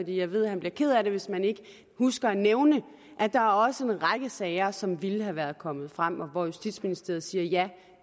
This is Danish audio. jeg ved at han bliver ked af det hvis man ikke husker at nævne at der også er en række sager som ville have været kommet frem og hvor justitsministeriet siger ja